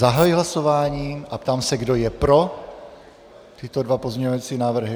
Zahajuji hlasování a ptám se, kdo je pro tyto dva pozměňovací návrhy.